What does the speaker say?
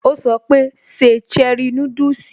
Ó sọ pé, 'Se cherie núdùsì'